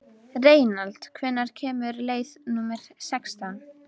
Reynald, hvenær kemur leið númer sextán?